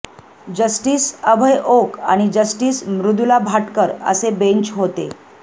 justice Abhay Oak आणि justice Mridula Bhatkar असे bench होते